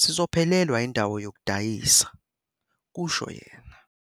sizophelelwa indawo yokudayisa, "kusho yena.